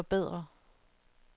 forbedre